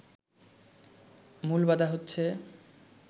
মূল বাধা হচ্ছে